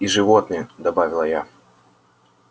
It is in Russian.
и животные добавила я